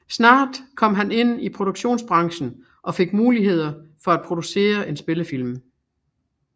Snart kom han ind i produktionsbranchen og fik muligheden for at producerer en spillefilm